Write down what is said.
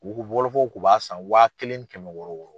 wɔlɔfɔw tun b'a san wa kelen ni kɛmɛ wɔɔrɔ wɔɔrɔ.